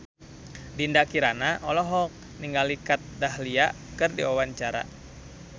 Dinda Kirana olohok ningali Kat Dahlia keur diwawancara